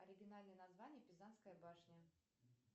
оригинальное название пизанская башня